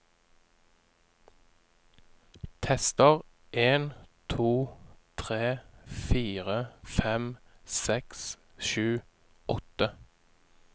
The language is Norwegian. Tester en to tre fire fem seks sju åtte